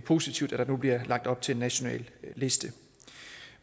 positivt der nu bliver lagt op til en national liste